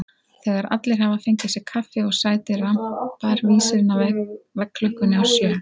Þegar allir hafa fengið sér kaffi og sæti rambar vísirinn á veggklukkunni á sjö.